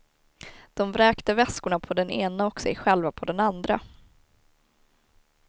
De vräkte väskorna på den ena och sig själva på den andra.